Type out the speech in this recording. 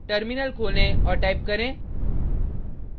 terminal खोलें और type करें